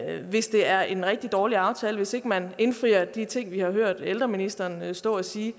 hvis det er en rigtig dårlig aftale hvis ikke man indfrier de ting vi har hørt ældreministeren stå og sige